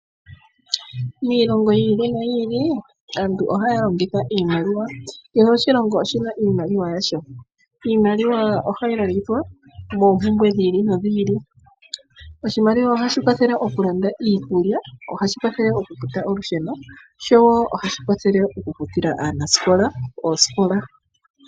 Miilongo yi ili noyi ili aantu ohaya longitha iimaliwa nakehe oshitunda oshina iimaliwa yasho yayoolokathana. Iimaliwa ohayi longithwa oku kandula po oompumbwe dhi ili nodhi ili. Iisimpo ohayi landa iikulya, oku futa olusheno nosho woo oku futa oosikola.